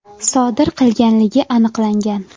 sodir qilganligi aniqlangan.